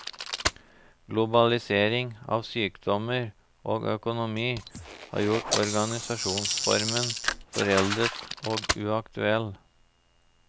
Globalisering av sykdommer og økonomi har gjort organisasjonsformen foreldet og uaktuell.